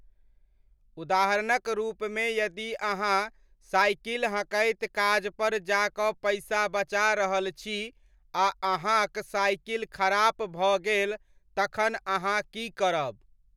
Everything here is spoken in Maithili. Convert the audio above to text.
उदाहरणक रूपमे यदि अहाँ साइकिल हँकैत काजपर जा कऽ पैसा बचा रहल छी आ अहाँक साइकिल खराप भऽ गेल तखन अहाँ की करब?